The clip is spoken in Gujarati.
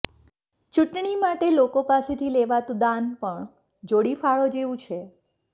ચૂંટણી માટે લોકો પાસેથી લેવાતું દાન પણ જોડી ફાળો જેવું છે